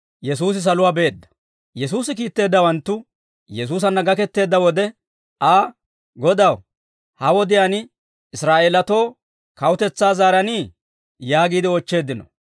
Yesuusi kiitteeddawanttu Yesuusanna gaketteedda wode Aa, «Godaw, ha wodiyaan Israa'eelatoo kawutetsaa zaaranii?» yaagiide oochcheeddino.